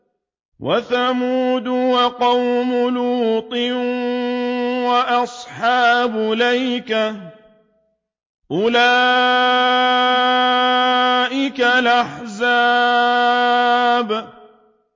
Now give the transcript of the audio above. وَثَمُودُ وَقَوْمُ لُوطٍ وَأَصْحَابُ الْأَيْكَةِ ۚ أُولَٰئِكَ الْأَحْزَابُ